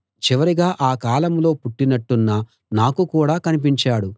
చివరిగా అకాలంలో పుట్టినట్టున్న నాకు కూడా కనిపించాడు